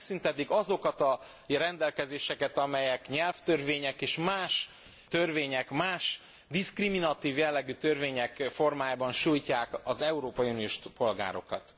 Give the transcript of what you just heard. Ha megszüntetik azokat a rendelkezéseket, amelyek nyelvtörvények és más törvények, más diszkriminatív jellegű törvények formájában sújtják az európai uniós polgárokat.